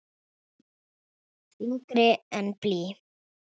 Þyngri en blý.